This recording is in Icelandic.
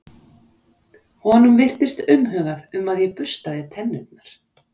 Honum virtist umhugað um að ég burstaði tennurnar.